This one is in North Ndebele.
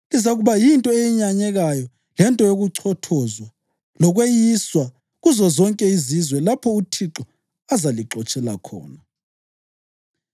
Lizakuba yinto eyenyanyekayo lento yokuchothozwa lokweyiswa kuzozonke izizwe lapho uThixo azalixotshela khona.